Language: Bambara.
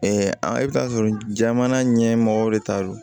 i bɛ taa sɔrɔ jamana ɲɛmɔgɔw de ta don